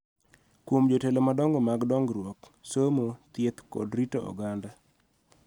Kuom jotelo madongo mag dongruok, somo, thieth, kod rito oganda